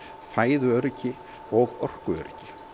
fæðuöryggi og orkuöryggi